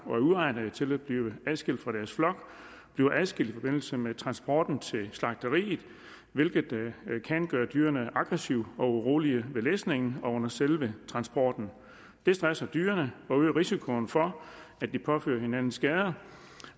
og er uegnet til at blive adskilt fra deres flok bliver adskilt i forbindelse med transporten til slagteriet hvilket kan gøre dyrene aggressive og urolige ved læsningen og under selve transporten det stresser dyrene og øger risikoen for at de påfører hinanden skader